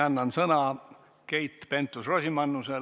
Annan sõna Keit Pentus-Rosimannusele.